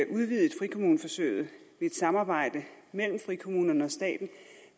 udvidet frikommuneforsøget ved et samarbejde mellem frikommunerne og staten